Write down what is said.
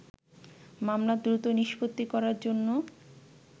মামলা দ্রুত নিষ্পত্তি করার জন্য